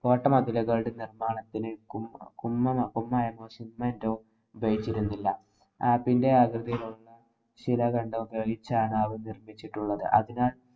കോട്ടമതിലുകളുടെ നിര്‍മ്മാണത്തിനു കു~ കുമ്മന~ കുമ്മായമോ, cement ഓ തേച്ചിരുന്നില്ല. ആപ്പിന്‍റെ ആകൃതിയിലുള്ള ശിലാഖണ്ഡങ്ങള്‍ ഉപയോഗിച്ചാണ്‌ അവ നിര്‍മ്മിച്ചിട്ടുള്ളത്. അതിനാല്‍,